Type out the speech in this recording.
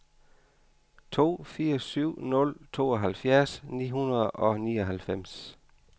to fire syv nul tooghalvfjerds ni hundrede og nioghalvfems